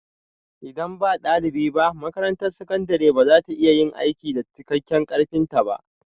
Idan ba ɗalibi ba, makarantar sakandare ba za ta iya yin aiki da cikakken ƙarfinta ba